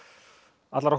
allar okkar